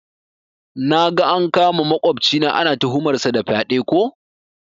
Naga an kama makwafcina, ana tuhumar sa da fyaɗe ko?